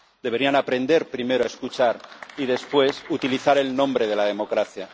Deberían aprender primero a escuchar y, después, utilizar el nombre de la democracia.